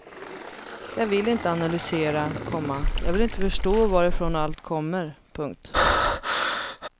Jag vill inte analysera, komma jag vill inte förstå varifrån allt kommer. punkt